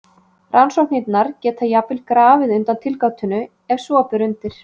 Rannsóknirnar geta jafnvel grafið undan tilgátunni ef svo ber undir.